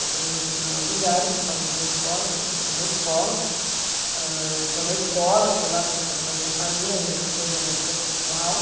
Eu estou num determinado lugar, eu estou falando da escola, estou pensando na escola, âh, eu estou na escola, estou lá pensando na minha família, nas minhas coisas, na minha vida pessoal.